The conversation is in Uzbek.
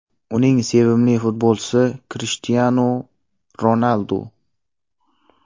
Uning sevimli futbolchisi Krishtianu Ronaldu.